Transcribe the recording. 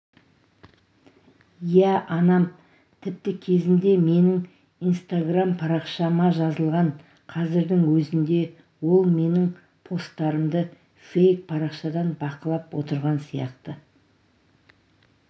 иә анам тіпті кезінде меніңинстаграм парақшамажазылған қазірдің өзінде ол менің посттарымды фейк парақшадан бақылып отырған сияқты